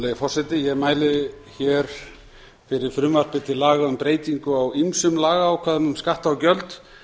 virðulegi forseti ég mæli fyrir frumvarpi til laga um breytingu á ýmsum lagaákvæðum um skatta og gjöld